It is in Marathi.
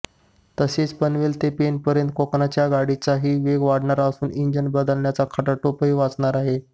तसेच पनवेल ते पेणपर्यंत कोकणच्या गाड्याचाही वेग वाढणार असून इंजिन बदलण्याचा खटाटोपही वाचणार आहे